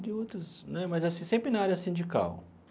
De outras né, mas assim sempre na área sindical.